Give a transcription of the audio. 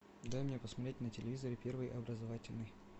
дай мне посмотреть на телевизоре первый образовательный